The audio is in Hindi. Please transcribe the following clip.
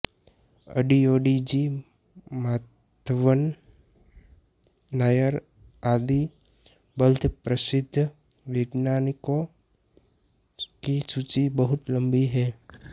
अडियोडी जी माधवन नायर आदि लब्ध प्रसिद्ध वैज्ञानिकों की सूची बहुत लम्बी है